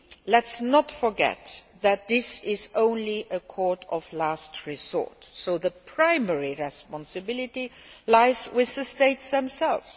Let us not forget that this is only a court of last resort, so the primary responsibility lies with the states themselves.